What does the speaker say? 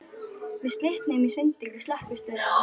Við slitnuðum í sundur við Slökkvistöðina.